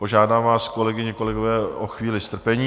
Požádám vás, kolegyně, kolegové, o chvíli strpení.